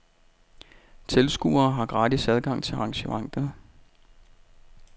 Tilskuere har gratis adgang til arrangementet.